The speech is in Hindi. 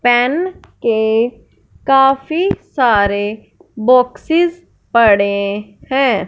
पेन के काफी सारे बॉक्सेस पड़े है।